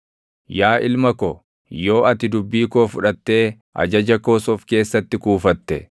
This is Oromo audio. Yaa ilma ko, yoo ati dubbii koo fudhattee ajaja koos of keessatti kuufatte,